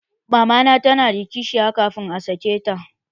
Mamana ta na da kishiya kafin a sake ta